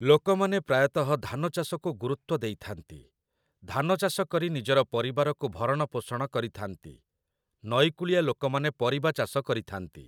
ଲୋକମାନେ ପ୍ରାୟତଃ ଧାନଚାଷକୁ ଗୁରୁତ୍ୱ ଦେଇଥାନ୍ତି । ଧାନଚାଷ କରି ନିଜର ପରିବାରକୁ ଭରଣପୋଷଣ କରିଥାନ୍ତି । ନଈକୂଳିଆ ଲୋକମାନେ ପରିବାଚାଷ କରିଥାନ୍ତି।